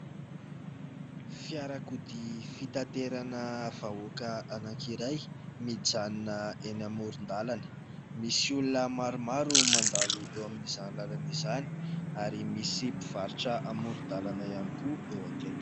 Fiarakodia fitaterana vahoaka anankiray mijanona eny amoron-dalana. Misy olona maromaro mandalo eo amin'izany lalana izany ary misy mpivarotra amoron-dalana ihany koa eo akaiky.